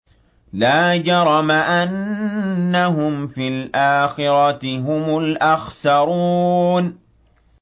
لَا جَرَمَ أَنَّهُمْ فِي الْآخِرَةِ هُمُ الْأَخْسَرُونَ